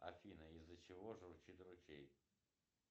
афина из за чего журчит ручей